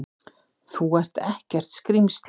Þú ert ekkert skrímsli!